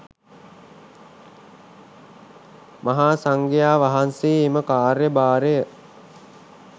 මහා සංඝයා වහන්සේ එම කාර්යභාරය